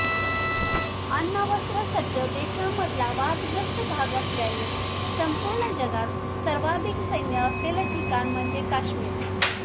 अण्वस्त्रसज्ज देशांमधला वादग्रस्त भाग असल्याने संपूर्ण जगात सर्वाधिक सैन्य असलेलं ठिकाण म्हणजे काश्मीर